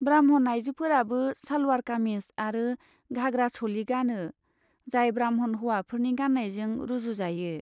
ब्राह्मण आइजोफोराबो सालवार कामिज आरो घाग्रा चलि गानो जाय ब्राह्मण हौवाफोरनि गान्नायजों रुजुजायो।